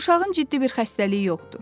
Uşağın ciddi bir xəstəliyi yoxdur.